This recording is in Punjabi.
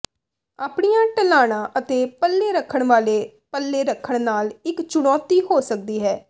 ਆਪਣੀਆਂ ਢਲਾਣਾਂ ਅਤੇ ਪੱਲੇ ਰੱਖਣ ਵਾਲੇ ਪੱਲੇ ਰੱਖਣ ਨਾਲ ਇਕ ਚੁਣੌਤੀ ਹੋ ਸਕਦੀ ਹੈ